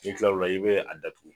N'i kilaI'o la i bɛ a datugu.